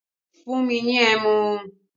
Fún mi ní ẹmu!